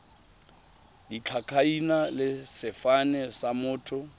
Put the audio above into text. ditlhakaina le sefane sa motho